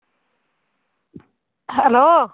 Hello